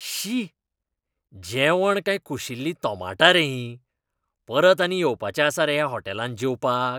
शी! जेवण काय कुशिल्लीं तोमाटां रे हीं. परत आनी येवपाचें आसा रे ह्या हॉटेलांत जेवपाक?